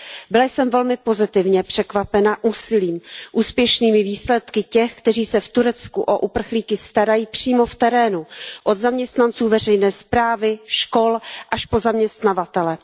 Byla jsem velmi pozitivně překvapena úsilím, úspěšnými výsledky těch, kteří se v Turecku o uprchlíky starají přímo v terénu, od zaměstnanců veřejné správy, škol až po zaměstnavatele.